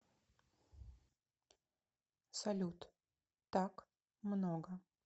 салют так много